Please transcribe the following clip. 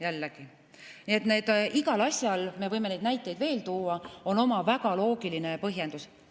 Jällegi, igal asjal, me võime neid näiteid veel tuua, on oma väga loogiline põhjendus.